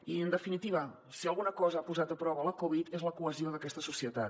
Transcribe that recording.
i en definitiva si alguna cosa ha posat a prova la covid és la cohesió d’aquesta societat